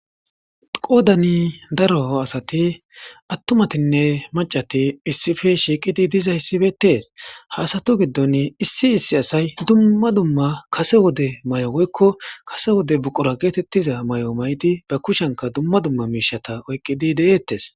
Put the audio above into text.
Qoddani daro assati atumatine maccati issipe shiqidi issipetesi ha asatu giddoni issi issi assayi duma duma kasse wode mayo woyiko kase wodde buqura getiza mayo mayidi ba kushiyanika duma duma mishata oyikidi detes.